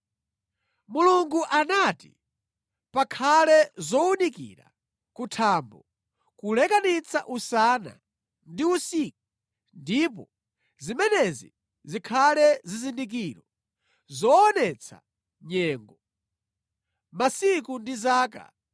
Mulungu anati, “Pakhale zowunikira kuthambo kuti zilekanitse usana ndi usiku. Ndipo zimenezi zikhale zizindikiro zoonetsa nyengo, masiku ndi zaka;